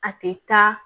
A tɛ taa